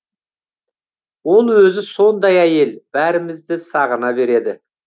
ол өзі сондай әйел бәрімізді сағына береді